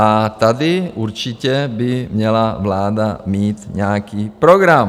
A tady určitě by měla vláda mít nějaký program.